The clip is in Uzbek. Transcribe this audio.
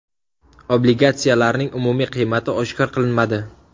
Obligatsiyalarning umumiy qiymati oshkor qilinmadi.